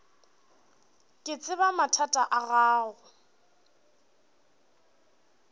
ke tseba mathata a gago